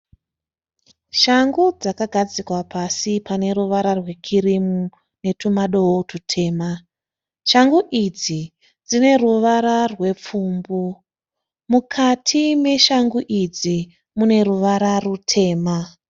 Shangu dzakagadzikwa pasi pane ruvara rwe kirimu netumadoo tutema. Shangu idzi dzine ruvara rwe pfumbu, mukati meshangu idzi mune ruvara rutema.